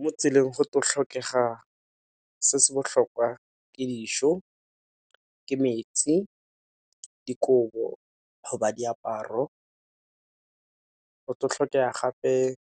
Mo tseleng tlo go tlhokega se se botlhokwa ke dijo, ke metsi, dikobo go ba diaparo, go tlo tlhokega gape ka